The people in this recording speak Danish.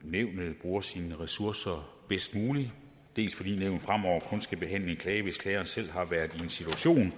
vi med bruger sine ressourcer bedst muligt dels fordi nævnet fremover kun skal behandle en klage hvis klageren selv har været i en situation